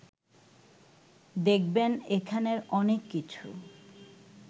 দেখবেন এখানের অনেক কিছু